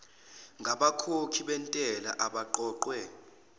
ngabakhokhi bentela eqoqwe